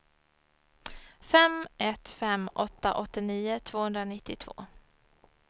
fem ett fem åtta åttionio tvåhundranittiotvå